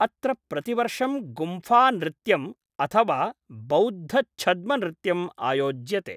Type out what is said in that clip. अत्र प्रतिवर्षं गुम्फानृत्यम् अथवा बौद्धछद्मनृत्यम् आयोज्यते।